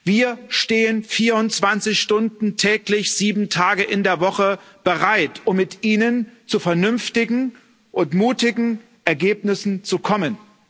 Wir stehen 24 Stunden täglich sieben Tage in der Woche bereit, um mit Ihnen zu vernünftigen und mutigen Ergebnissen zu kommen.